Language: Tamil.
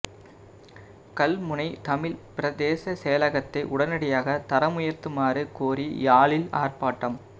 கல்முனை தமிழ் பிரதேச செயலகத்தை உடனடியாக தரமுயர்த்துமாறு கோரி யாழில் ஆர்ப்பாட்டம்